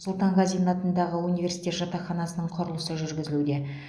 сұлтанғазин атындағы университет жатақханасының құрылысы жүргізілуде